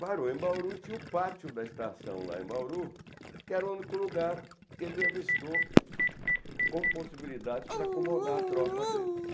Parou em Bauru, tinha o pátio da estação lá em Bauru, que era o único lugar que ele avistou como possibilidade para acomodar a tropa dele.